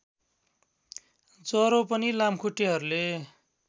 ज्वरो पनि लामखुट्टेहरूले